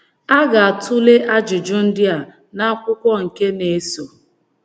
A ga - atụle ajụjụ ndị a n’akwụkwọ nke na-eso.